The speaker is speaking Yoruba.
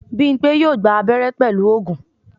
Bímpé yóò gba abẹ́rẹ́ pẹ̀lú oògùn